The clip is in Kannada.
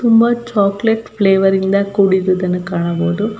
ತುಂಬಾ ಚಾಕಲೇಟ್ ಫ್ಲೇವರ್ ನಿಂದ ಕೂಡಿರುವುದನ್ನು ಕಾಣಬಹುದು.